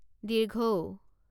ঊ